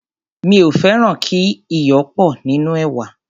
mí ò fẹràn kí iyò pò nínú èwà.